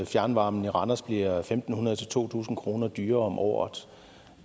fjernvarmen i randers bliver en tusind fem hundrede to tusind kroner dyrere om året